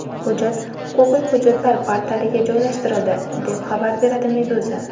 Hujjat huquqiy hujjatlar portaliga joylashtirildi, deb xabar beradi Meduza.